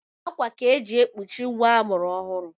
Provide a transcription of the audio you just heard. Akwa ka e ji ekpochi nwa a mụrụ ọhụụ